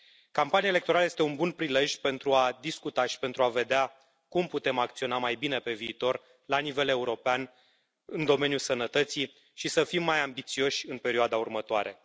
Campania electorală este un bun prilej pentru a discuta și pentru a vedea cum putem acționa mai bine pe viitor la nivel european în domeniul sănătății și să fim mai ambițioși în perioada următoare.